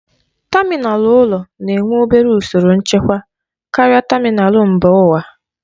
Tamịnal ụlọ na-enwe obere usoro nchekwa karịa tamịnal mba ụwa.